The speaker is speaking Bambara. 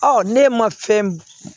Ɔ ne ma fɛn